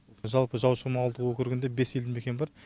жалпы жаушықұм ауылдық округінде бес елді мекен бар